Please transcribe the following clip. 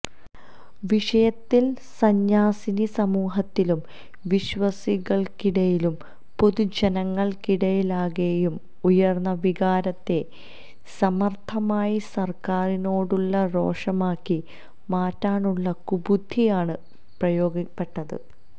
വിഷയത്തിൽ സന്യാസിനി സമൂഹത്തിലും വിശ്വാസികൾക്കിടയിലും പൊതു ജനങ്ങൾക്കിടയിലാകെയും ഉയർന്ന വികാരത്തെ സമർഥമായി സർക്കാരിനോടുള്ള രോഷമാക്കി മാറ്റാനുള്ള കുബുദ്ധിയാണ് പ്രയോഗിക്കപ്പെട്ടത്